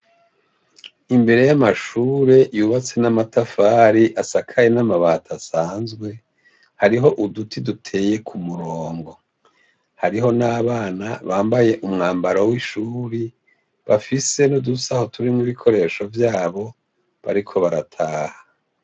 Imbere y'amashure yubatse n'amatafari, asakaye n'amabati asanzwe, hariho uduti duteye ku murongo. Hariho n'abana bambaye umwambaro w'ishuri bafise n'udusaho turimwo ibikoresho vyabo bariko barataha.